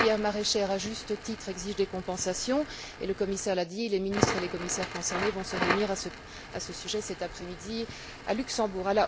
La filière maraîchère exige, à juste titre, des compensations et le commissaire l'a dit les ministres et les commissaires concernés vont se réunir à ce sujet cet après midi à Luxembourg.